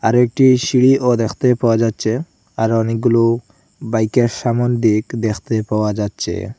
আর একটি সিঁড়িও দেখতে পাওয়া যাচ্ছে আর অনেকগুলো বাইকের সামোন দিক দেখতে পাওয়া যাচ্ছে।